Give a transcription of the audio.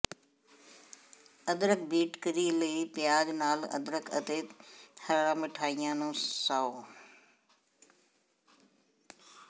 ਅਦਰਕ beet curry ਲਈ ਪਿਆਜ਼ ਨਾਲ ਅਦਰਕ ਅਤੇ ਹਰਾ ਮਿਠਾਈਆਂ ਨੂੰ ਸਾਓ